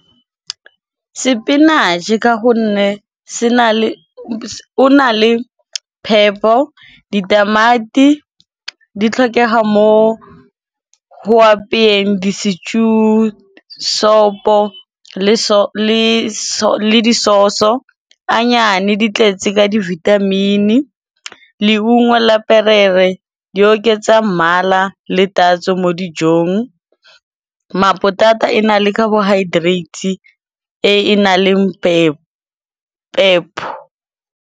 Spinach-e ka gonne o na le phepo, ditamati di tlhokega mo ho apeyeng di-stew, sopho le disoso, anyane di tletse ka di-vitamin-i. Leungo la perere di oketsa mmala le tatso mo dijong, mapotata e na le carbohydrate e e nang le pepho.